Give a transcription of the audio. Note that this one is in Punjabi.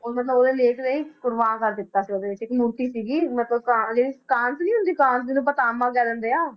ਉਹ ਮਤਲਬ ਉਹਦੇ ਲੇਖ ਰਾਹੀਂ ਕੁਰਬਾਨ ਕਰ ਦਿੱਤਾ ਸੀ ਉਹਦੇ ਵਿੱਚ ਇੱਕ ਅੰਗੂਠੀ ਸੀਗੀ ਮਤਲਬ ਜਿਹਨੂੰ ਆਪਾਂ ਤਾਂਬਾ ਕਹਿ ਦਿੰਦੇ ਹਾਂ